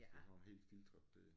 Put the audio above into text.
Hvis det er sådan helt filtret det